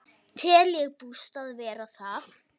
Tel ég bústað vera það.